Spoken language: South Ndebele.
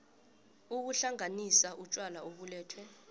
ukuhlanganisa utjwala obulethwe